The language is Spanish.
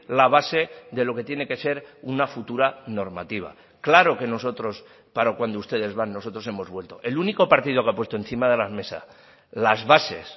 la base de lo que tiene que ser una futura normativa claro que nosotros para cuando ustedes van nosotros hemos vuelto el único partido que ha puesto encima de la mesa las bases